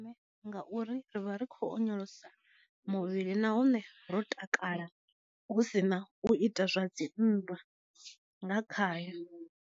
Ngauri rivha ri kho onyolosa muvhili nahone ro takala husina u ita zwa dzi nndwa nga khayo.